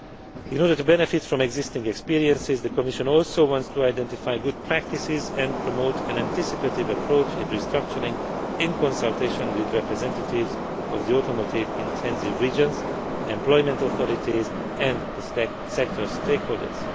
so forth. In order to benefit from existing experiences, the Commission also wants to identify good practices and promote an anticipative approach in restructuring, in consultation with representatives of the automotive intensive regions, employment authorities and the sector's stakeholders.